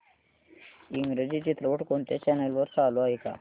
इंग्रजी चित्रपट कोणत्या चॅनल वर चालू आहे का